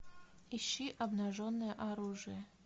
ищи обнаженное оружие